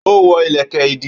Ó wọ́ ìlẹ̀kẹ̀ ìdí